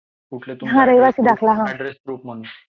रहिवासी दाखला मागतात ते.